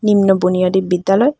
নিম্ন বুনিয়াদী বিদ্যালয়।